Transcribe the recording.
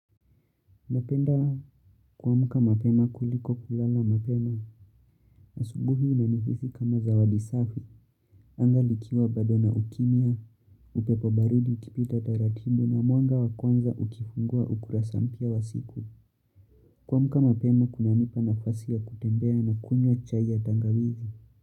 Napenda kuamka mapema kuliko kulala mapema, asubuhi inanihisi kama zawadi safi, anga likiwa bado na ukimya, upepo baridi ukipita taratibu na mwanga wakwanza ukifungua ukurasa mpya wa siku. Kuamka mapema kunanipa nafasi ya kutembea na kunywa chai ya tangawizi.